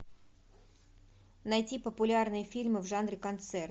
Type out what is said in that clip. найти популярные фильмы в жанре концерт